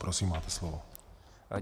Prosím, máte slovo.